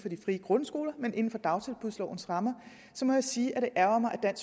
frie grundskoler men inden for dagtilbudslovens rammer må jeg sige at det ærgrer mig at